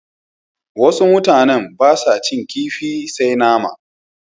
Wasu mutanen ba sa cin kifi sai nama.